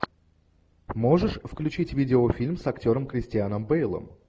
можешь включить видеофильм с актером кристианом бейлом